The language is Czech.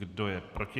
Kdo je proti?